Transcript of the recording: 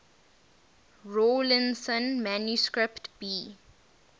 rawlinson manuscript b